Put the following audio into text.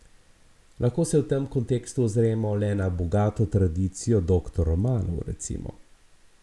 Lahko se v tem kontekstu ozremo le na bogato tradicijo doktor romanov, recimo.